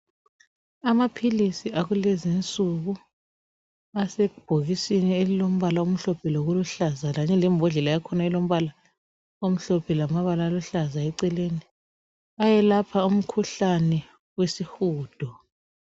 Amaphilisi akulezinsuku asebhokisini elilombala omhlophe lokuluhlaza kanye lembodlela yakhona elombala omhlophe lamabala aluhlaza eceleni ayelapha umkhuhlane wesihudo.